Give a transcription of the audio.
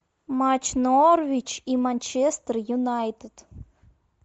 матч норвич и манчестер юнайтед